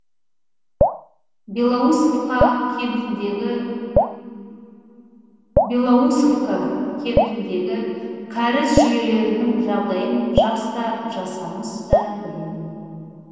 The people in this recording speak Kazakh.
белоусовка кентіндегі кәріз жүйелерінің жағдайын жас та жасамыс та біледі